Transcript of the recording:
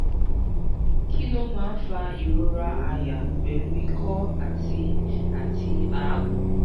kí ló máa ń fa ìrora àyà pelu iko ati ati agun?